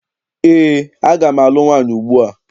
Eé, aga m alụ nwaanyị ugbua.